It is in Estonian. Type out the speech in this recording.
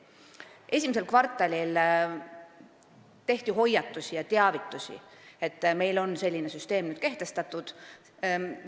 Esimeses kvartalis tehti hoiatusi ja teavitati, et meil on nüüd kehtestatud selline süsteem.